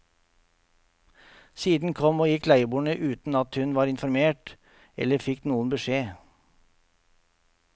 Siden kom og gikk leieboere uten at hun var informert, eller fikk noen beskjed.